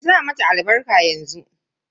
Ki sa mata albarka yanzu.